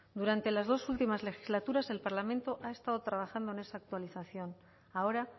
durante las dos últimas legislaturas el parlamento ha estado trabajando en esa actualización ahora